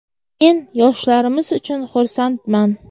Men yoshlarimiz uchun xursandman.